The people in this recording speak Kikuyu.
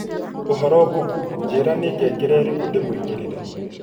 ũhoro google, njĩĩra nĩ ngengere iriku ndimwikĩrĩre